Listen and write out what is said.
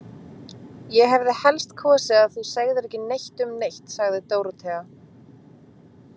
Ég hefði helst kosið að þú segðir ekki neitt um neitt, sagði Dórótea.